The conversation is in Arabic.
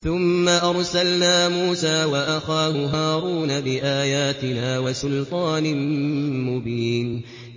ثُمَّ أَرْسَلْنَا مُوسَىٰ وَأَخَاهُ هَارُونَ بِآيَاتِنَا وَسُلْطَانٍ مُّبِينٍ